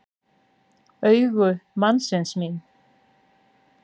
Augu mannsins mín.